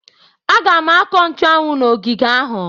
M ga-akọ nchuanwu n'ogige ahụ.